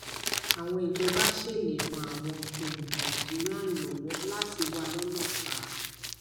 àwọn ìjọba ṣe lè ràn àwọn um naijiriana lọwọ láti wà lọnà fà